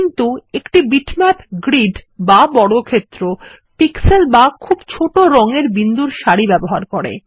কিন্তু একটি bitmap grid বা বর্গক্ষেত্র পিক্সেল বা খুব ছোট রঙ এর বিন্দুর সারি ব্যবহার করে